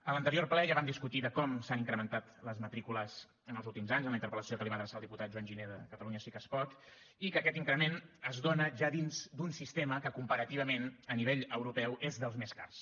en l’anterior ple ja vam discutir de com s’han incrementat les matrícules en els últims anys en la interpel·lació que li va adreçar el diputat joan giner de catalunya sí que es pot i que aquest increment es dóna ja dins d’un sistema que comparativament a nivell europeu és dels més cars